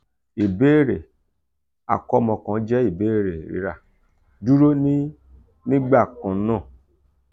ibere ​​akọmọ kan jẹ ibere rira/duro ni nigbakannaa